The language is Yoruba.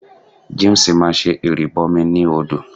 James máa ṣe ìrìbọmi ní odò.